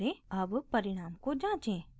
अब परिणाम को जाँचें